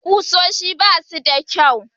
Ƙusoshin ba su da kyau.